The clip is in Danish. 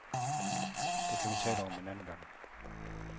Det kan vi tale om en anden gang.